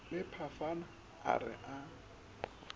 le phafana a re a